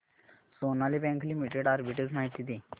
Sonali bank limited arbitrage माहिती दे